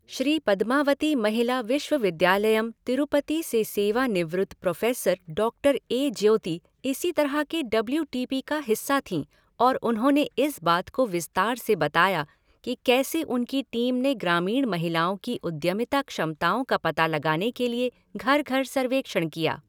श्रीपदमावती महिला विश्वविद्यालयम, तिरुपति से सेवानिवृत्त professor doctor A Jyoti इसी तरह के डब्ल्यू टी पी का हिस्सा थीं और उन्होंने इस बात को विस्तार से बताया कि कैसे उनकी टीम ने ग्रामीण महिलाओं की उद्यमिता क्षमताओं का पता लगाने के लिए घर घर सर्वेक्षण किया।